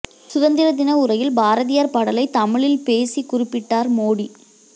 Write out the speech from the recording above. சுதந்திர தின உரையில் பாரதியார் பாடலை தமிழில் பேசி குறிப்பிட்டார் மோடி